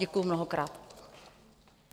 Děkuji mnohokrát.